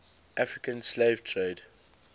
african slave trade